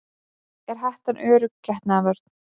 Er hettan örugg getnaðarvörn?